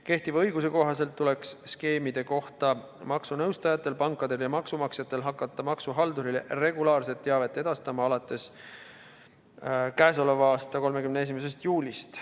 Kehtiva õiguse kohaselt tuleks skeemide kohta maksunõustajatel, pankadel ja maksumaksjatel hakata maksuhaldurile regulaarset teavet edastama alates k.a 31. juulist.